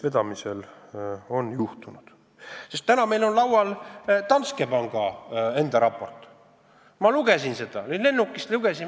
Praegu on meil laual Danske panga enda raport, ma lennukis lugesin seda.